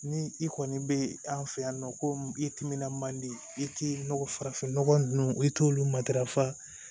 Ni i kɔni be an fɛ yan nɔ ko i timinan man di i ti nɔgɔ farafin nɔgɔ ninnu i t'olu matarafa